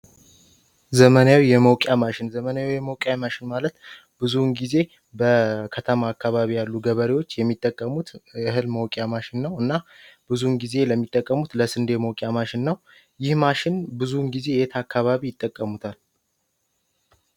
ዘመናዊ የመውቅያ ማሽን ዘመንያዊ የመውቅያ ማሽን ማለት ብዙውን ጊዜ በከተማ አካባቢ ያሉ ገበሪዎች የሚጠቀሙት እህል መውቅያ ማሽን ነው። ብዙውን ጊዜ ለሚጠቀሙት ለስንዴ መውቅያ ማሽን ነው ይህ ማሽን ብዙውን ጊዜ የት አካባቢ ይጠቀሙታል?